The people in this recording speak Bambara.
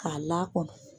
K'a lakɔnɔ